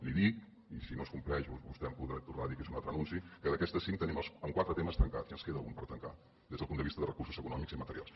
li dic i si no es compleix vostè em podrà tornar a dir que és un altre anunci que d’aquestes cinc tenim quatre temes tancats i ens en queda un per tancar des del punt de vista de recursos econòmics i materials